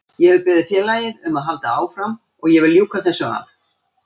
Ég hef beðið félagið um að halda áfram og ég vil ljúka þessu af.